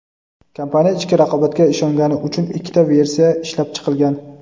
kompaniya "ichki raqobatga ishongani" uchun ikkita versiya ishlab chiqilgan.